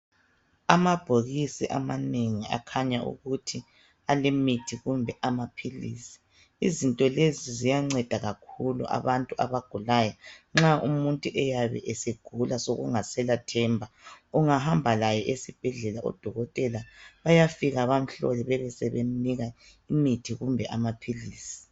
Amabhokisi amanengi akhanya ukuthi alemithi kumbe amaphilisi. Izinto lezi ziyanceda kakhulu abantu abagulayo. Nxa umuntu eyabe segula sokungasela themba ungahamba laye esibhedlela amadokotela bayafika bamuhlole bebesebemnika umuthi kumbe amaphilisi.